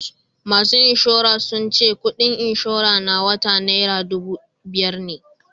Masu inshora sun ce kudin inshora na wata naira dubu biyar ne